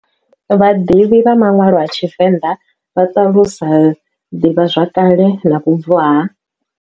Vhaḓivhi vha manwalo a TshiVenda vha talusa divhazwakale na vhubvo ha.